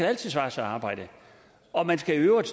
altid svare sig at arbejde og man skal i øvrigt